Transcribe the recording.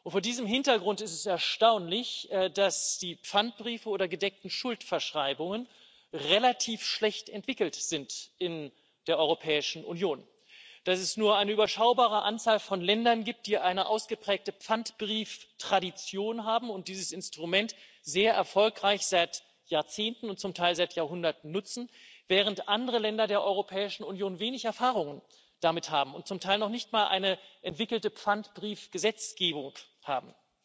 Vor diesem Hintergrund ist es erstaunlich, dass die Pfandbriefe oder gedeckten Schuldverschreibungen relativ schlecht entwickelt sind in der Europäischen Union, dass es nur eine überschaubare Anzahl von Ländern gibt, die eine ausgeprägte Pfandbrieftradition haben und dieses Instrument seit Jahrzehnten und zum Teil seit Jahrhunderten sehr erfolgreich nutzen, während andere Länder der Europäischen Union wenig Erfahrung damit haben und zum Teil noch nicht mal eine entwickelte Pfandbrief Gesetzgebung haben.